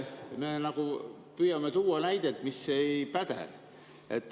Me püüame tuua nagu näidet, mis ei päde.